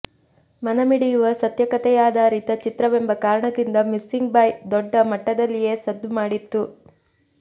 ಮನಮಿಡಿಯುವ ಸತ್ಯ ಕಥೆಯಾಧಾರಿತ ಚಿತ್ರವೆಂಬ ಕಾರಣದಿಂದ ಮಿಸ್ಸಿಂಗ್ ಬಾಯ್ ದೊಡ್ಡ ಮಟ್ಟದಲ್ಲಿಯೇ ಸದ್ದು ಮಾಡಿತ್ತು